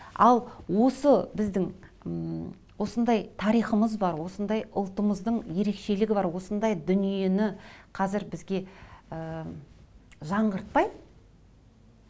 ал осы біздің м осындай тарихымыз бар осындай ұлтымыздың ерекшелігі бар осындай дүниені қазір бізге ыыы жаңғыртпай